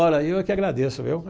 Ora, eu é que agradeço, viu?